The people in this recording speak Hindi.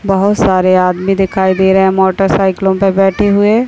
बहोत सारे आदमी दिखाई दे रहे है मोटरसाइकिलो पे बैठे हुए।